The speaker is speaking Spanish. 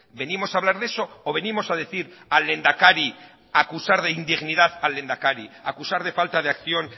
venimos a hablar de eso o venimos a decir al lehendakari a acusar de indignidad del lehendakari a acusar de falta de acción